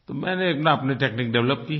तो मैंने अपनेआप अपनी तकनीक डेवलप की है